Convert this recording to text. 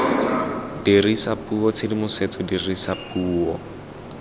dirisa puo tshedimosetso dirisa puo